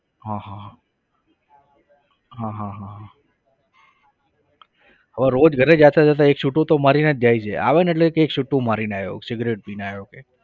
હા હા હા હા હા હવે રોજ ઘરે જતા જતા એક સુટ્ટો તો મારીને જ જાય છે આવે ને એટલે કહે એક સુટ્ટો મારીને આવ્યો છું સિગરેટ પીને આવ્યો કે